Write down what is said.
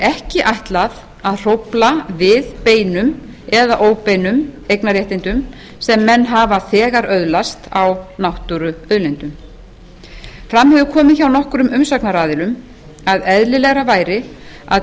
ekki ætlað að hrófla við beinum eða óbeinum eignarréttindum sem menn hafa þegar öðlast á náttúruauðlindum fram hefur komið hjá nokkrum umsagnaraðilum að eðlilegra væri að